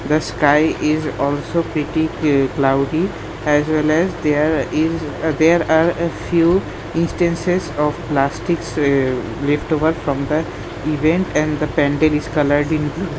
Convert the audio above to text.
the sky is also petty ki cloudy as well as there is ah there are a few instances of plastics ee lleftover from that event and the pandal is coloured in blue.